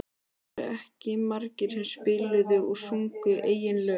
Það voru ekki margir sem spiluðu og sungu eigin lög.